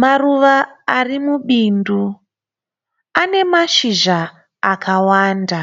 Maruva arimubindu, anemashizha akawanda